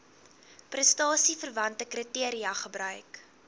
prestasieverwante kriteria gebruik